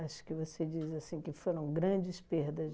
que você diz assim que foram grandes perdas.